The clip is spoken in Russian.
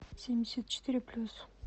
семьдесят четыре плюс